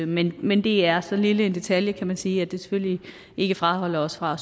men men det er så lille en detalje kan man sige at det selvfølgelig ikke fraholder os fra